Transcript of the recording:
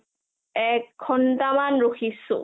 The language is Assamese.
এঘণ্টা মান ৰখিছো ।